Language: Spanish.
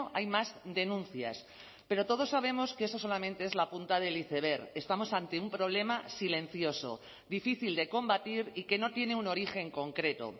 hay más denuncias pero todos sabemos que eso solamente es la punta del iceberg estamos ante un problema silencioso difícil de combatir y que no tiene un origen concreto